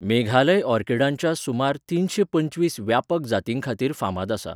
मेघालय ऑर्किडांच्या सुमार तिनशे पंचवीस व्यापक जातींखातीर फामाद आसा.